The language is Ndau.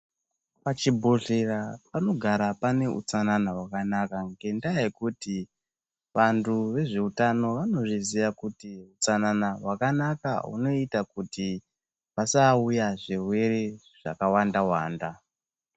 Pachibhedhlera panogara pane hustanana hwakanaka ngendaa yekuti vandu vezvehutano vanozviziva kuti hutsanana hwakanaka hunoita kuti pasauya zvirwere zvakawanda wanda.